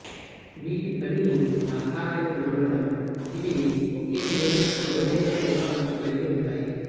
వీటి పని ఆహారాన్ని నమలడం ఇవి ఒకే మూలం పదునైన కోత అంచు కలిగి ఉంటాయి